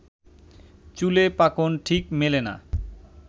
চুলে পাকন, ঠিক মেলে না